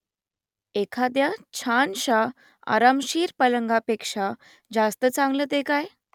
एखाद्या छानशा आरामशीर पलंगापेक्षा जास्त चांगलं ते काय ?